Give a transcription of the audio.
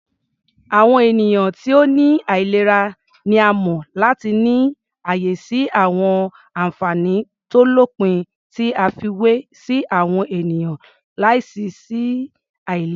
Àwọn ènìyàn ti ó ní àìlera ni a mọ̀ láti ní ààyè sí àwọn ànfàní tó lópin tí a fiwé sí àwọn ènìyàn láìsí àìlera.